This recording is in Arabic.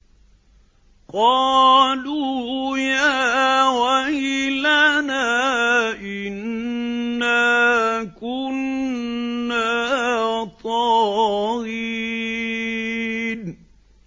قَالُوا يَا وَيْلَنَا إِنَّا كُنَّا طَاغِينَ